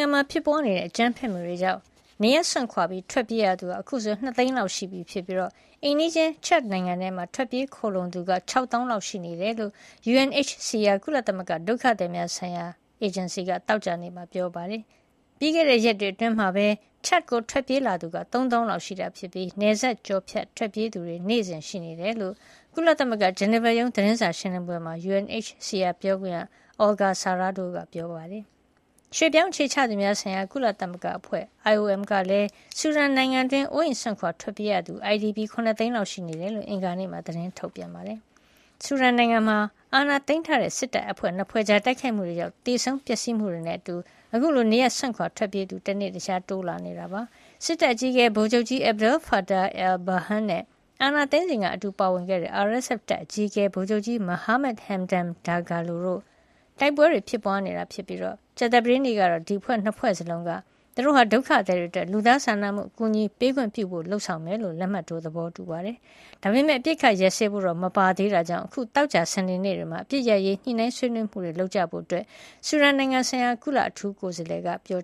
ဒန်မှာ ဖြစ်ပွါးတဲ့ အကြမ်းဘက်မှုတွေကြောင့် နေရပ်စွန့်ခွာ ထွက်ပြေးရသူဟာ အခုဆို ၂ သိန်းလောက် ရှိနေပြီဖြစ်ပြီး အိမ်နီးချင်း Chad နိုင်ငံထဲ ထွက်ပြေးခိုလှုံသူကပဲ ၆ သောင်းလောက် ရှိနေတယ်လို့ UNHCR ကုလသမဂ္ဂ ဒုက္ခသည်များဆိုင်ရာ အေဂျင်စီက သောကြာနေ့မှာ ပြောပါတယ်။ ပြီးခဲ့တဲ့ ရက်တွေအတွင်းမှာပဲ Chad ကို ထွက်ပြေးလာသူက ၃ သောင်းလောက် ရှိနေတာဖြစ်ပြီး နယ်စပ်ကျော်ဖြတ် ထွက်ပြေးသူတွေ နေ့စဉ်ရှိနေတယ်လို့ ကုလသမဂ္ဂ ဂျနီဗာရုံး သတင်းစာရှင်းလင်းပွဲမှာ UNHCR ပြောခွင့်ရ Olga Sarrado ကပြောပါတယ်။ ရွှေ့ပြောင်းအခြေချသူများဆိုင်ရာ ကုလသမဂ္ဂအဖွဲ့ IOM ကလည်း ဆူဒန်နိုင်ငံတွင်းမှာ အိုးအိမ်စွန့်ခွာ ထွက်ပြေးနေရသူ IDP က ၇ သိန်းလောက် ရှိနေတယ်လို့ အင်္ဂါနေ့က သတင်းထုတ်ပြန်ထားတာပါ။ ဆူဒန်နိုင်ငံမှာ အာဏာသိမ်းထားတဲ့ စစ်တပ် ၂ ဖွဲ့ကြား တိုက်ခိုက်မှုတွေကြောင့် သေဆုံးပျက်စီးမှုတွေနဲ့အတူ အခုလို နေရပ်စွန့်ခွါ ထွက်ပြေးသူ တနေ့တခြား တိုးလာနေတာ ဖြစ်ပါတယ်။ စစ်တပ်အကြီးအကဲ ဗိုလ်ချုပ်ကြီး Abdel Fattah al-Burhan နဲ့ အာဏာသိမ်းစဉ်က အတူပါဝင်ခဲ့တဲ့ RSF တပ်အကြီးအကဲ ဗိုလ်ချုပ်ကြီး Mohammed Hamdan Dagalo တို့ကြား တိုက်ပွဲတွေ ဖြစ်ပွါးနေတာဖြစ်ပြီး ကြာသပတေးနေ့ကတော့ ဒီအဖွဲ့ ၂ ဖွဲ့စလုံးက သူတို့ဟာ ဒုက္ခသည်တွေအတွက် လူသားစာနာမှု အကူညီပေးခွင့်ပြုဖို့ လုပ်ဆောင်မှ ဖြစ်ကြောင်း လက်မှတ်ရေးထိုး သဘောတူခဲ့ပါတယ်။ ဒါပေမဲ့ အပစ်အခတ် ရပ်စဲဖို့တော့ မပါသေးတဲ့အတွက် အခု သောကြာနဲ့ စနေနေ့တွေမှာ အပစ်ရပ်ရေး ညှိနှိုင်းဆွေးနွေးကြဖို့ ဆူဒန်ဆိုင်ရာ ကုလအထူးကိုယ်စားလှယ် Volker Perthes ကပြော